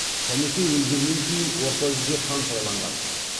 сәмеке өлгеннен кейін орта жүзге хан сайланған